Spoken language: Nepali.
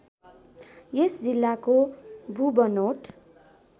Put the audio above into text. यस जिल्लाको भूबनोट